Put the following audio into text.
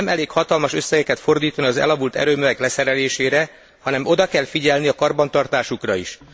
Nem elég hatalmas összegeket fordítani az elavult erőművek leszerelésére, hanem oda kell figyelni a karbantartásukra is.